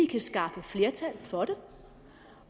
kan skaffe flertal for det